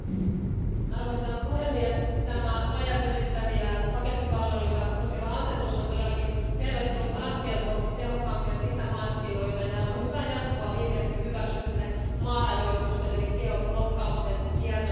Arvoisa puhemies, tämä rajat ylittäviä pakettipalveluita koskeva asetus on todellakin tervetullut askel kohti tehokkaampia sisämarkkinoita ja hyvää jatkoa viimeksi hyväksytylle maarajoitusten eli geoblokkauksen kieltämiselle.